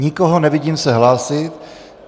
Nikoho nevidím se hlásit.